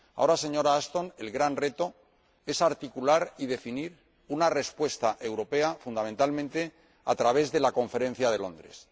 Ahora, señora Ashton, el gran reto es articular y definir una respuesta europea, fundamentalmente, a través de la Conferencia de Londres.